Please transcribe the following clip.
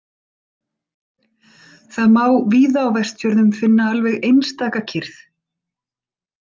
Það má víða á Vestfjörðum finna alveg einstaka kyrrð.